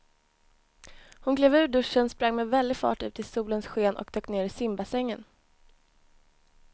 Hon klev ur duschen, sprang med väldig fart ut i solens sken och dök ner i simbassängen.